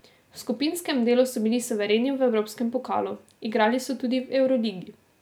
V skupinskem delu so bili suvereni v evropskem pokalu, igrali so tudi v evroligi.